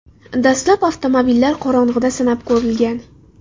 Dastlab avtomobillar qorong‘ida sinab ko‘rilgan.